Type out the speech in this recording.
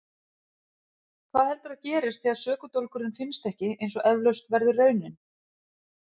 Hvað heldurðu að gerist þegar sökudólgurinn finnst ekki eins og eflaust verður raunin?